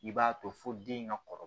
I b'a to fo den in ka kɔrɔ